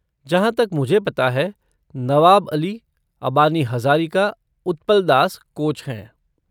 जहाँ तक मुझे पता है, नवाब अली, अबानी हज़ारिका, उत्पल दास कोच हैं।